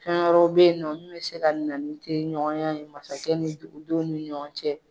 Fɛn wɛrɛw bɛ yen nɔ mun bɛ se ka na ni teri ɲɔgɔnya ye masakɛ ni dugudenw ni ɲɔgɔn cɛ.